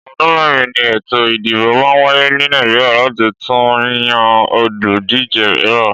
Ọdún mẹ́rin ni ètò ìdìbò máa ń wáyé ní Nàìjíríà láti tún yan olùdíje mìíràn.